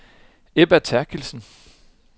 Ebba Therkildsen